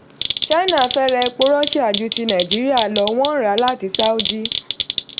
china fẹ́ra epo russia ju ti nàìjíríà lọ wọ́n ń ra láti sáúdí.